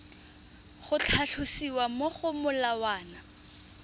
go tlhalosiwa mo go molawana